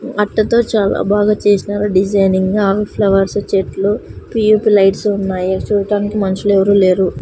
అట్టతో చాలా బాగా చేసినారు డిజైనింగ్ ఆవి ఫ్లవర్స్ చెట్లు పి_యు_పి లైట్స్ ఉన్నాయి చూడ్డానికి మనిషిలు ఎవరూ లేరు.